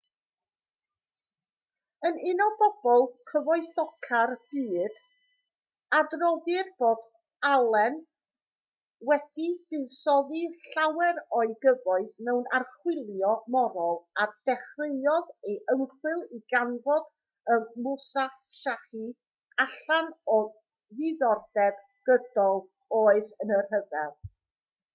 yn un o bobl cyfoethoca'r byd adroddir bod allen wedi buddsoddi llawer o'i gyfoeth mewn archwilio morol a dechreuodd ei ymchwil i ganfod y musashi allan o ddiddordeb gydol oes yn y rhyfel